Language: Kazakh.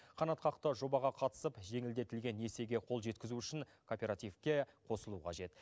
қанатқақты жобаға қатысып жеңілдетілген несиеге қол жеткізу үшін кооперативке қосылу қажет